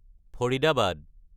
Faridabad